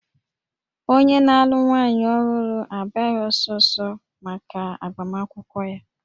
Onye na-alụ nwaanyị ọhụrụ abịaghị ọsọ ọsọ maka agbamakwụkwọ ya